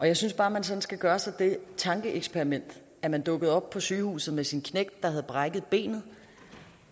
jeg synes bare at man skal gøre sig det tankeeksperiment at man dukkede op på sygehuset med sin knægt der havde brækket benet